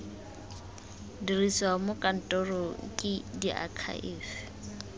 dirisiwa mo kantorong ke diakhaefe